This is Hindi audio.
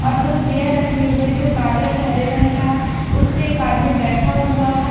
और दो चेयर रखे जो काले और हरे रंग का है उसपे एक आदमी बैठा हुआ है।